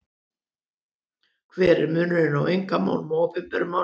Hver er munurinn á einkamálum og opinberum málum?